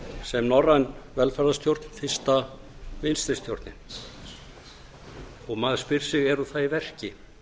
sem norræn velferðarstjórn fyrsta vinstri stjórnin og maður spyr sig er hún það í verki